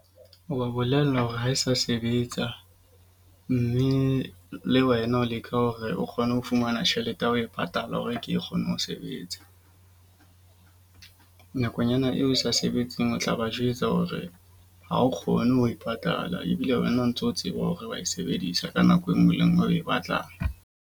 O ba bolella hore ha e sa sebetsa. Mme le wena o leka hore o kgone ho fumana tjhelete ya ho e patala hore ke kgone ho sebetsa. Nakonyana eo e sa sebetseng o tla ba jwetsa hore ha o kgone ho e patala. Ebile wena o ntso tseba hore wa e sebedisa ka nako enngwe le e nngwe eo oe batlang.